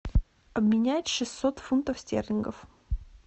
обменять шестьсот фунтов стерлингов